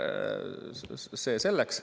See selleks.